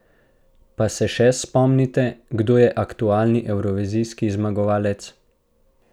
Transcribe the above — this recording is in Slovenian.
Pa se še spomnite, kdo je aktualni evrovizijski zmagovalec?